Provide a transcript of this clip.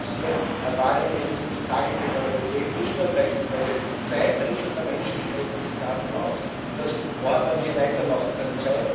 Und das, was hier an Wahlergebnissen zu Tage gefördert wird, in Ungarn beispielsweise Zwei Drittel der Menschen sprechen sich dafür aus, dass Orbán hier weitermachen kann.